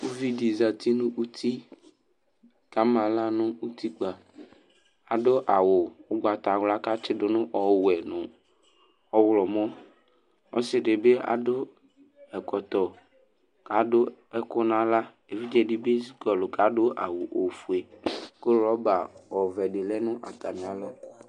Uvi di za uti nu uti ku amaɣla nu utikpa Adu awu ugbatawla ku atsi du nu ɔwɛ nu ɔɣlɔmɔ Ɔsi di bi adu ɛkɔtɔ ku adu ɛku nu aɣla Evidze di bi kɔlɔ ku adu awu ɔfue ku rɔba ovɛ di lɛ nu atami alɔ